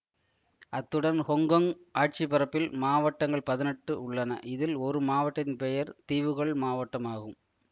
அத்துடன் ஹொங்கொங் ஆட்சிபரப்பில் மாவட்டங்கள் பதினெட்டு உள்ளன இதில் ஒரு மாவட்டத்தின் பெயர் தீவுகள் மாவட்டம் ஆகும்